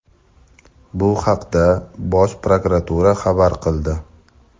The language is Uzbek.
Bu haqda Bosh prokuratura xabar qildi.